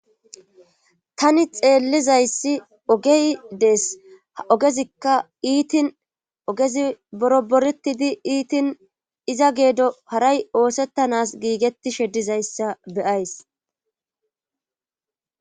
Tani xeellizayssi ogey dees ha ogezikka iitin ogezi boro boretidi iitin iza geedo haray oosettanas giigettishe dizayssa beyays.